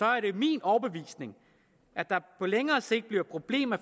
er det min overbevisning at der på længere sigt bliver problemer